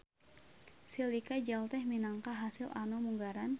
Silika jel teh minangka hasil anu munggaran.